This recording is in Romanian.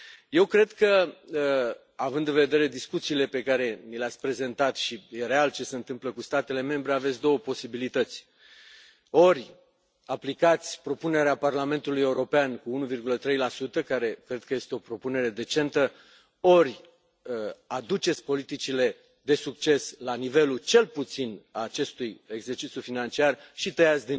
Eu cred că, având în vedere discuțiile pe care ni le ați prezentat și este real ce se întâmplă cu statele membre, aveți două posibilități ori aplicați propunerea Parlamentului European, cu 1,3, care cred că este o propunere decentă, ori aduceți politicile de succes la nivelul, cel puțin, al acestui exercițiu financiar și tăiați